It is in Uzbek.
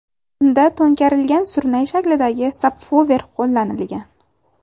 Unda to‘nkarilgan surnay shaklidagi sabvufer qo‘llanilgan.